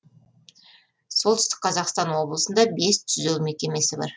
солтүстік қазақстан облысында бес түзеу мекемесі бар